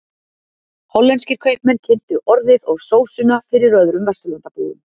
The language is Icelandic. Hollenskir kaupmenn kynntu orðið og sósuna fyrir öðrum Vesturlandabúum.